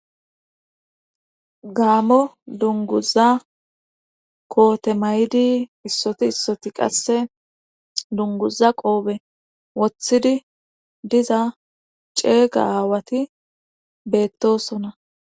gaammo dunguza koote may'idii issoti issoti qasse dunguza qoofe woththidii diza ceega aawati beettosona